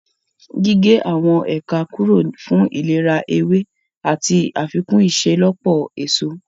Gígé àwọn ẹ̀ka kúrò fún ìlera ewé àti àfikún ìṣelọ́pọ̀ èso